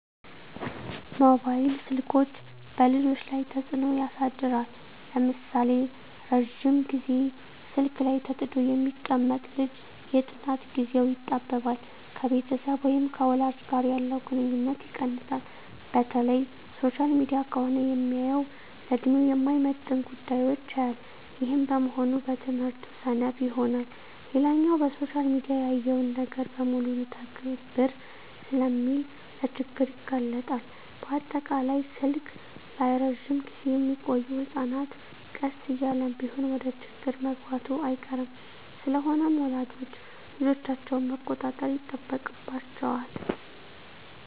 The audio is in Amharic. መባይል ስልኮች በልጆች ላይ ተጽኖ ያሳድራል ለምሳሌ:- ረጅም ግዜ ስልክ ላይ ተጥዶ የሚቀመጥ ልጅ የጥናት ግዜው ይጣበባል፣ ከቤተሰብ ወይም ከወላጅ ጋር ያለው ግንኙነት ይቀንሳል፣ በተለይ ሶሻል ሚዲያ ከሆነ ሚያየው ለድሜው የማይመጥን ጉዳዮች ያያል ይህም በመሆኑ በትምህርቱ ሰነፍ ይሆናል። ሌላኛው በሶሻል ሚዲያ ያየውን ነገር በሙሉ ልተግብር ስለሚል ለችግር ይጋለጣል፣ በአጠቃላይ ስልክ ላይ እረጅም ግዜ ሚቆዮ ህጸናት ቀስ እያለም ቢሆን ወደችግር መግባቱ አይቀርም። ስለሆነም ወላጆች ልጆቻቸውን መቆጣጠር ይጠበቅባቸዋል